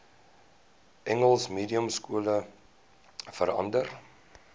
engels mediumskole verander